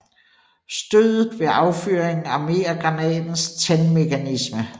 Stødet ved affyringen armerer granatens tændmekanisme